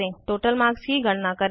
total marks की गणना करें